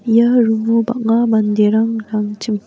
ia room-o bang·a manderang .